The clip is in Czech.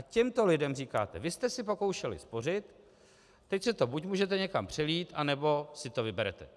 A těmto lidem říkáte "vy jste si pokoušeli spořit, teď si to buď můžete někam přelít, nebo si to vyberete".